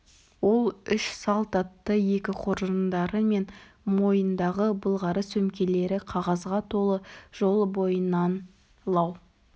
ол үш салт атты екі қоржындары мен мойындағы былғары сөмкелері қағазға толы жол бойынан лау